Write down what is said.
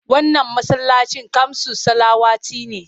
Wannan masallacin kamsus salawati ne.